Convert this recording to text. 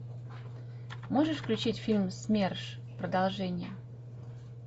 можешь включить фильм смерш продолжение